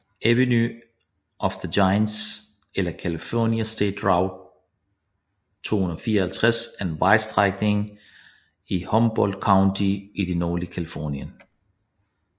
Avenue of the Giants eller California State Route 254 er en vejstrækning i Humboldt County i det nordlige Californien